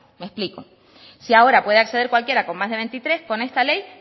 me explico si ahora puede acceder cualquiera con más de veintitrés con esta ley